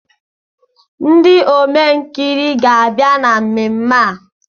Ndị Omenkiri ga-abịa na mmemme a